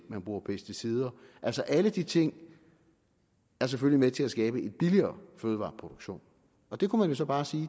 man bruger pesticider altså alle de ting er selvfølgelig med til at skabe en billigere fødevareproduktion og det kunne man jo så bare sige